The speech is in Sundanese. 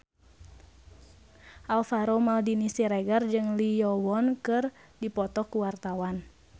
Alvaro Maldini Siregar jeung Lee Yo Won keur dipoto ku wartawan